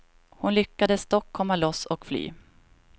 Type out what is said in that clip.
Hon lyckades dock komma loss och fly.